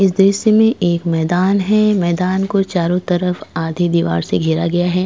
इस दृश्य में एक मैदान है मैदान को चारों तरफ आधी दीवार से घेरा गया है।